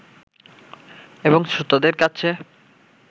এবং শ্রোতাদের কাছে